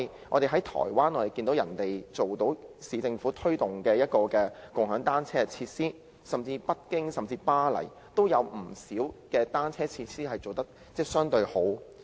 我們看到台灣可以做到由市政府推動共享單車設施，甚至北京和巴黎也有不少單車設施做得相對較好。